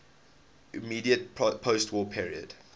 immediate postwar period